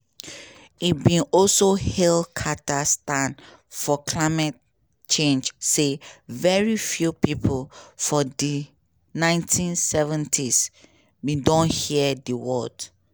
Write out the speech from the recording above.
e bin also hail carter stand for climate change say "very few pipo for di 1970s" bin don hear di words.